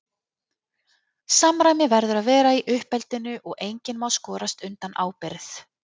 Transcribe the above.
Samræmi verður að vera í uppeldinu og enginn má skorast undan ábyrgð.